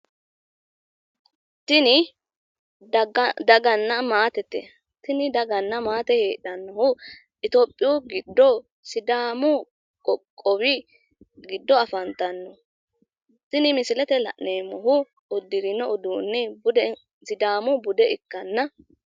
Tini daganna maatete tini daganna maate heedhannohu itiopiyu giddo sidaamu qoqqowi giddo afantanno kuni uddirino uduunni sidaamu bude ikkanna